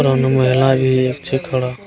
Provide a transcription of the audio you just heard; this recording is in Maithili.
थोड़ा।